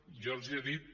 jo els he dit